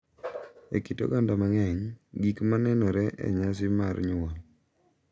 E kit oganda mang’eny, gik ma nenore e nyasi mar nyuol, .